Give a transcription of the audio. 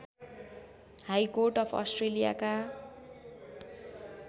high court of अस्ट्रेलियाका